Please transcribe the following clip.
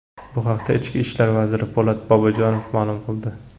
Bu haqda ichki ishlar vaziri Po‘lat Bobojonov ma’lum qildi.